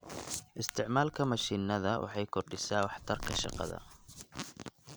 Isticmaalka mashiinada waxay kordhisaa waxtarka shaqada.